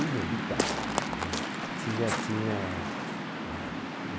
Inevitável isso né, tinha tinha ah